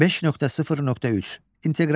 5.0.3 inteqrasiya.